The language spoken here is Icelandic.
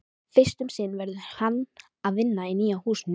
Fyrst um sinn verður hann að vinna í nýja húsinu.